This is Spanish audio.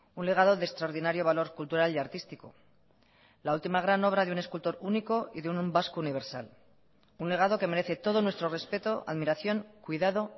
un legado de extraordinario valor cultural y artístico la última gran obra de un escultor único y de un vasco universal un legado que merece todo nuestro respeto admiración cuidado